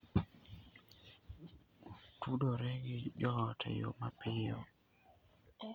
Otudore gi joot e yo mapiyo.